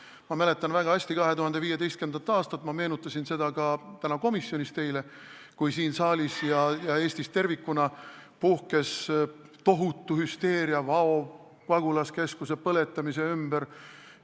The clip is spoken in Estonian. Ma mäletan väga hästi 2015. aastat – ma meenutasin seda ka täna komisjonis teile –, kui siin saalis ja Eestis tervikuna puhkes tohutu hüsteeria Vao pagulaskeskuse põlemise ümber.